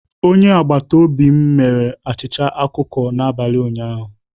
Onye agbata obi m mere achịcha ọkụkọ n'abalị ụnyaahụ